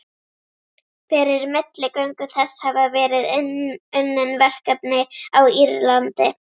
Fyrir milligöngu þess hafa verið unnin verkefni á Írlandi.